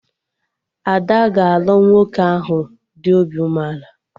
Ada ga-alụ nwoke ahụ dị obi umeala